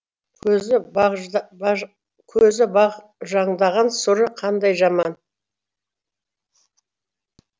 көзі бағжаңдаған сұры қандай жаман